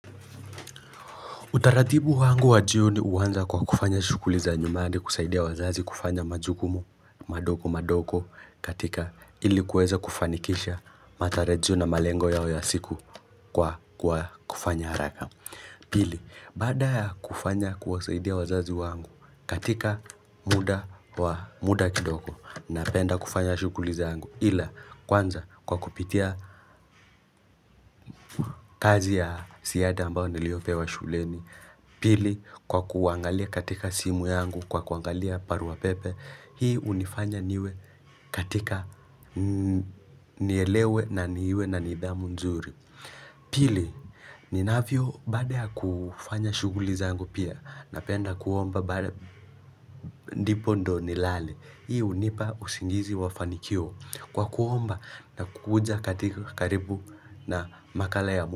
Utaradibu wangu wa juu ni uwanza kwa kufanya shuguli za nyumbani kusaidia wazazi kufanya majukumu madogo madogo katika ilikuweza kufanikisha matarijio na malengo yao ya siku kwa kufanya haraka. Pili, bada kufanya kuwasaidia wazazi wangu katika muda kidogo na penda kufanya shuguli zangu ila kwanza kwa kupitia kazi ya siyada ambao niliopewa shuleni. Pili kwa kuangalia katika simu yangu kwa kuangalia barua pepe Hii unifanya niwe katika nielewe na niwe na nidhamu nzuri Pili ninavyo baada ya kufanya shuguli zangu pia Napenda kuomba bade nipo ndo nilale Hii unipa usingizi wafanikio Kwa kuomba na kukuja katika karibu na makala ya mua.